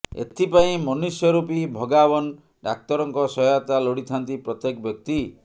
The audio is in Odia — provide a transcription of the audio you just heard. ଏଥିପାଇଁ ମନୁଷ୍ୟ ରୁପି ଭଗାବାନ ଡ଼ାକ୍ତରଙ୍କ ସହାୟତା ଲୋଡ଼ିଥାନ୍ତି ପ୍ରତ୍ୟେକ ବ୍ୟକ୍ତି